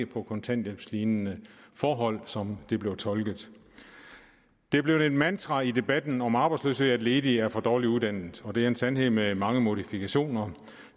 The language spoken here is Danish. på kontanthjælpslignende forhold som det er blevet tolket det er blevet et mantra i debatten om arbejdsløshed at ledige er for dårligt uddannet det er en sandhed med mange modifikationer